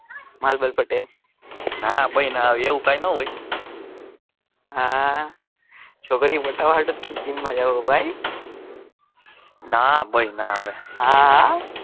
માલ બાલ પટાયો ના ભાઈ ના એવું કઈ હોય હા છોકરીઓ પટાવા હાટુ જ તમે જિમ માં જાઓ ભાઈ ના ભાઈ ના હવે હા હા.